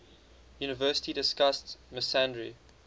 university discussed misandry